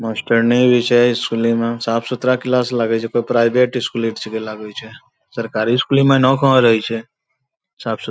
मास्टरनी भी छै स्कूली में साफ-सुथरा क्लास लगै छै कोय प्राइभेट स्कूली र छेकै लागै छै सरकारी इसकुली में नव कहाँ रहै छै साफ-सु --